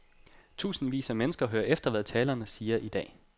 Tusindvis af mennesker hører efter, hvad talerne siger i dag.